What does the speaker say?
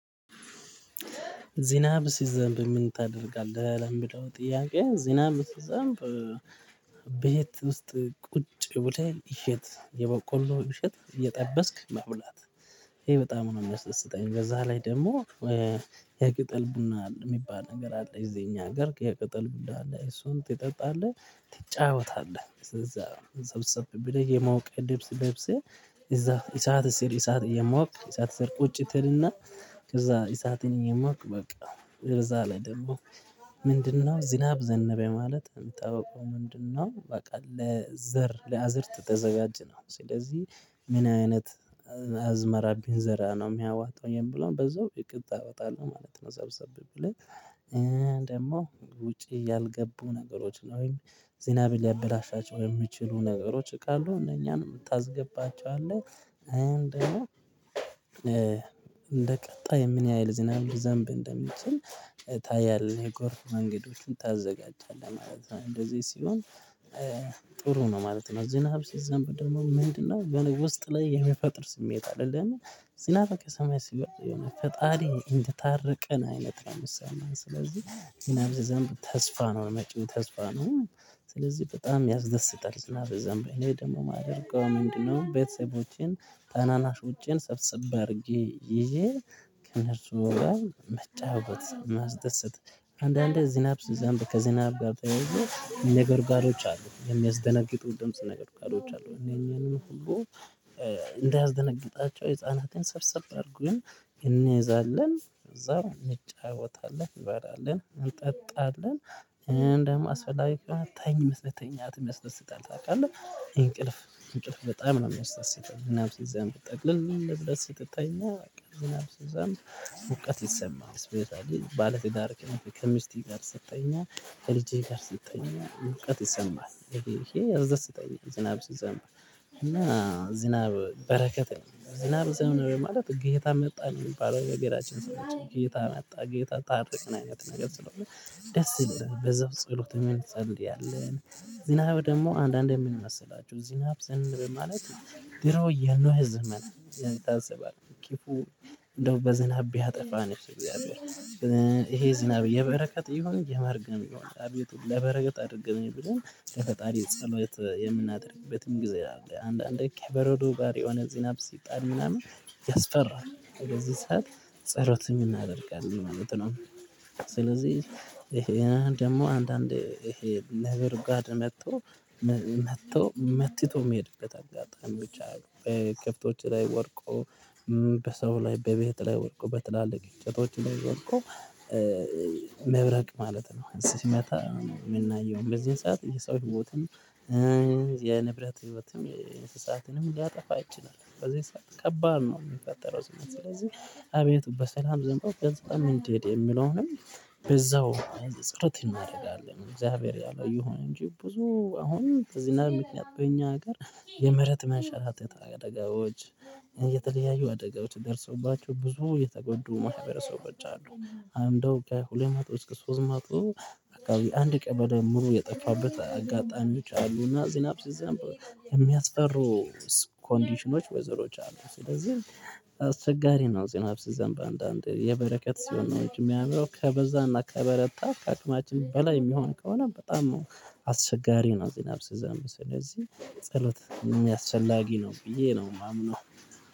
ዝናብ ሲዘንብ ምን ታደርጋለህ? ለሚለው ጥያቄ ዝናብ ሲዘንብ ቤት ውስጥ ቁጭ ብለህ እሸት የበቆሎ እሸት እየጠበስክ መብላት ይሄ በጣም ነው የሚያስደስተኝ። በዛ ላይ ደግሞ የቅጠል ቡና ሚባል ነገር አለ እዚህ እኛ ሀገር የቅጠል ቡና አለ እሱን ትጠጣለህ። ትጫወታለህ ስለዚህ ሰብሰብ ብለህ የሞቀ ልብስ ለብሰህ እዛ እሳት ስር እሳት እሞቅክ እሳት ስር ቁጭ ትል እና ከዛ እሳትን እየሞቅክ በቃ እዛ ላይ ደግሞ ምንድን ነው ዝናብ ዘነበ? ማለት ምታውቀው ምንድን ነው? በቃ ለዘር ለአዝዕርት ተዘጋጅ ነው ስለዚህ ምን አይነት አዝመራ ብንዘራ ነው የሚያዋጣው የሚለውን በዛው እቅድ ታወጣለህ ማለት ነው። ሰብሰብ ብለን ደግሞ ውጪ ያልገቡ ነገሮች ነው ወይም ዜናብ ሊያበላሻቸው የሚችሉ ነገሮች ካሉ እነኛንም ታስገባቸዋለህ። እንደ ቀጣይ የምን ያህል ዝናብ ሊዘንብ እንደሚችል ታያለህ የጎርፍ መንገዶችን ታዘጋጃለህ ማለት ነው። እንደዚህ ሲሆን ጥሩ ነው ማለት ነው። ዝናብ ሲዘብ ደግሞ ምንድን ነው ውስጥ ላይ የሚፈጥር ስሜት አይደለም? ዝናብ ከሰማይ ሲወርድ የሆነ ፈጣሪ እንደታረቀን አይነት ነው ሚሰማን። ስለዚህ ሲዘንብ ተስፋ ነው መጭው ተስፋ ነው ስለዚህ በጣም ያስደስታል። ዝናብ ሲዘንብ እኔ ደግሞ ማደርገው ምንድን ነው ቤተሰቦቼን ታናናሾቼን ሰብሰብ አድርጌ ይዤ ከነርሱ ጋር መጫወት ማስደሰት። አንዳንዴ ዝናብ ሲዘንብ ከዝናብ ጋር ተያይዞ ነጎድጓዶች አሉ የሚያስደነግጡ ድምጽ ነጎድጓዶች አሉ። እኛንም እንዳያስደነግጣቸው ህፃናትን ሰብሰብ አድርገን እንይዛለን እዛው እንጫወታለን እንበላለን እንጠጣለን እንደውም አስፈላጊ ከሆነ ተኝ መተኛት ሚያስደስታል። ታውቃለህ እንቅልፍ እንቅልፍ በጣም ነው የሚወስደው ዝናብ ሲዘንብ ጥቅልል ብለህ ስትተኛ። ዝናብ ሲዘንብ ሙቀት ይሰማሃል ይሰማል ባለትዳር ከሚስትህ ጋር ሰተኛ እና ከልጅህ ጋር ሰተኛ ሙቀት ይሰማል ይሄ ያስደስተኛል። ዝናብ ሲዘንብ እና ዝናብ በረከት ዝናብ ሲዘንብ ማለት ጌታ መጣ ነው ሚባለው የሀገራችን ሰዎች ጌታ መጣ ጌታ ታርቀን አይነት ነገር ስለሆነ። ደስ ብሎናል በዛው ጸሎትም እንጸልያለን። ዝናብደግሞ አንዳንዴ ምን መሰላችሁ? ዝናብ ዘንበ ማለት ድሮ የኖህ ዘመን ብሎ ታስባለህ። ክፉ እንደው በዝናብ ቢያጠፋ ነው እግዚአብሔር ይሄ ዝናብ የበረከት ይሁን የመርገም ነው አቤቱ ለበረከት አድርገልኝ ብሎ ለፈጣሪ ጸሎት የምናደርግበትም ጊዜ አለ። አንዳንድ ከቨርዶ ጋር የሆነ ዝናብ ሲጥል ምናምን ያስፈራል። ከዚህ ሰዓት ጸሎት ምናደርጋለን ማለት ነው። ስለዚህ ይሄ ደግሞ አንዳንዴ ይሄ ነጎድጓድ መጥቶ መጥቶ መትቶ ሚሄድበት አጋጣሚዎች አሉ። በከፍቶች ላይ ወድቆ በሰው ላይ በቤት ላይ ወድቆ በትላልቅ እጨቶች ላይ ወድቆ። መብረቅ ማለት ነው ሲመታ ምናየው በዚህ ሰዓት የሰው ህይወትም የንብረት ህይወትም እንስሳትንም ሊያጠፋ ይችላል። ከዚህ ሰዓት ከባድ ነው ሚፈጠረው። ስለዚህ አቤቱ በሰላም ዘንድ ግልጽምን እንዲሄድ የሚለውንም በዛው ጾሎት እናረጋለን። እግዚአብሔር ያለው ይሁን እንጂ ብዙ አሁን በዝናብ ምክንያት በእኛ ሀገር የመሬት መንሸራት አደጋዎች የተለያዩ አደጋዎች ደርሰውባቸው ብዙ የተጎዱ ማህበረሰቦች አሉ። አንድ በሁለት መቶ እስከ ሶስት መቶ አንድ ቀን በድምሩ የጠፋበት አጋጣሚዎች አሉ። እና ዝናብ ሲዘንብ የሚያስፈሩ ኮንዲሽኖች ወይዘሮች አሉ። ስለዚህ አስቸጋሪ ነው ዝናብ ሲዘንብ በአንዳንዴ የበረከት ሲሆን ሚያምረው ከበዛና ከበረታ ከአቅማችን በላይ የሚሆን ከሆነ በጣም አስቸጋሪ ነው። ዝናብ ሲዘንብ ሲዘንብ ስለዚህ ጸሎት አስፈላጊ ነው ብዬ ነው ማምነው